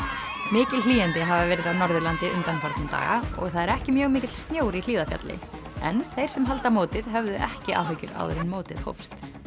mikil hlýindi hafa verið á Norðurlandi undanfarna daga og það er ekki mjög mikill snjór í Hlíðarfjalli en þeir sem halda mótið höfðu ekki áhyggjur áður en mótið hófst